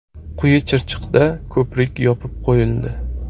Quyi Chirchiqda ko‘prik yopib qo‘yildi.